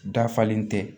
Dafalen tɛ